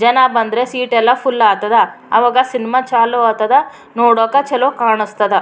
ಜನ ಬಂದ್ರೆ ಸೀಟ್ ಎಲ್ಲ ಫುಲ್ಲ್ ಆತದ ಆವಗ ಸಿನ್ಮಾ ಚಾಲೋ ಆತಾದ ನೋಡೊಕೆ ಚಲೋ ಕಾಣಿಸ್ತದ.